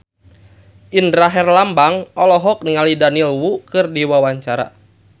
Indra Herlambang olohok ningali Daniel Wu keur diwawancara